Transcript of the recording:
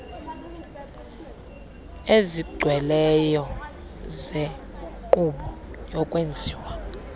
ezigcweleyo zenkqubo yokwenziwa